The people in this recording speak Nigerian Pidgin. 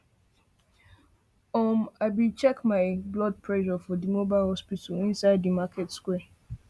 um i be check my my blood pressure for di mobile hospital inside di market square